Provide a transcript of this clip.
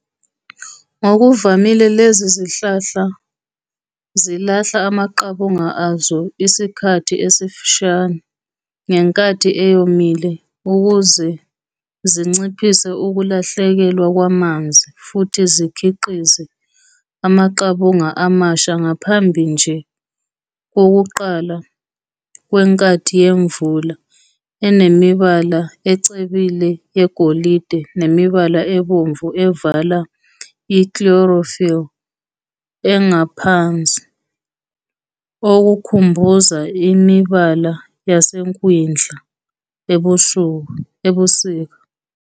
Ngokuvamile lezi zihlahla zilahla amaqabunga azo isikhathi esifushane ngenkathi eyomile ukuze zinciphise ukulahlekelwa kwamanzi futhi zikhiqize amaqabunga amasha ngaphambi nje kokuqala kwenkathi yemvula enemibala ecebile yegolide nemibala ebomvu evala i-chlorophyll engaphansi, okukhumbuza imibala yasekwindla ebusika.